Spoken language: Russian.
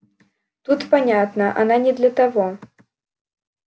тут понятно она не для того